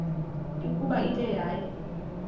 ukuba ithe yaya